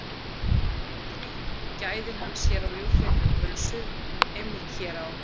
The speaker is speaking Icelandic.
Á myndinni gæðir hann sér á ljúffengri pulsu, einmitt hér á